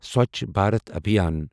Swachh Bharat Abhiyan